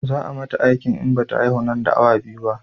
Za a mata aiki in bata haihu nan da awa biyu ba